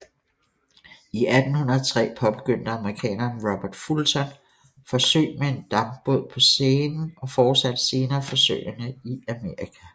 I 1803 påbegyndte amerikaneren Robert Fulton forsøg med en dampbåd på Seinen og fortsatte senere forsøgene i Amerika